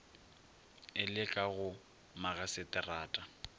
e le ka go magaseterata